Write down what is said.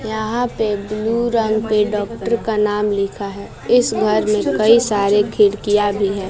यहाँ पे ब्लू रंग पे डॉक्टर का नाम लिखा है। इस घर मे कई सारे खिड़कियाँ भी हैं।